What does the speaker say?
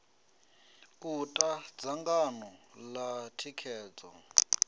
u ta dzangano ḽa thikhedzo